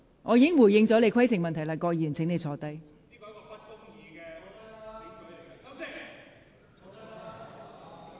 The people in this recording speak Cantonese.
我已回答你的規程問題，請你坐下。